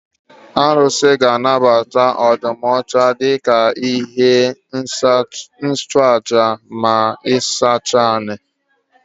Arụsị ga anabata ọdụm ọcha dika ihe nchụaja ma ịsachasị ala